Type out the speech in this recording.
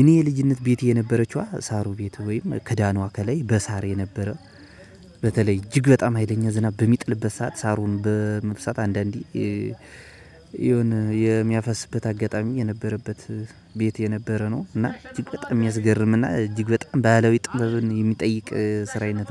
እኔ የልጅነት ቤቴ የነበረችዋ ሳሩ ቤት ወይም ክዳኗ ከላይ በሳር የነበረ። በተለይ እጅግ በጣም ሀይለኛ ዝናብ በሚጥልበት ሰዓት ሳሩን በመብሰት አንዳንዴ የሆነ የሚያፈስበት አጋጣሚ የነበረበት ቤት የነበረ ነው። እና እጅግ በጣም የሚያስገርም እና እጅግ በጣም ባህላዊ ጥበብን የሚጠይቅ ስራ አይነት ነው